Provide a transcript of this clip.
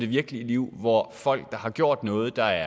virkelige liv hvor folk der har gjort noget der